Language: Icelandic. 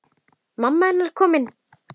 Mamma hennar komin.